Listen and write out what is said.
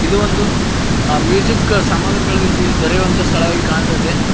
ಇದು ಒಂದು ಮ್ಯೂಸಿಕ್ ಸಾಮಗ್ರಿಗಳು ಇಲ್ಲಿ ದೊರೆಯುವಂತ ಸ್ಥಳವಾಗಿ ಕಾಣುತ್ತ ಇದೆ.